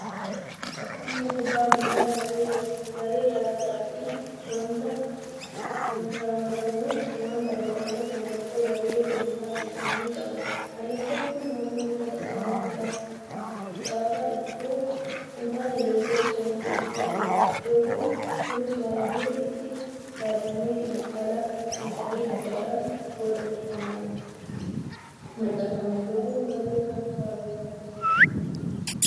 Taphni kubbaa miilaa garee garaa garaatiin waantaphatamuuf mallattoo garee dhuunfaa isaanii qabu. Mallattoon kun halluu uffata isaanii qafa itoo hintaane Loogoo isaan ibsu qabu. Loogoon kunis baay'ee itti yaadamee xiinxallii guddaadhaan booda mirkanaa'ee maxxanfama. Loogoo garee kam fa'aa beektu?